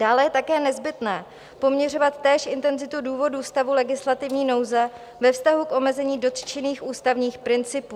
Dále je také nezbytné poměřovat též intenzitu důvodů stavu legislativní nouze ve vztahu k omezení dotčených ústavních principů.